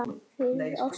fyrir ástina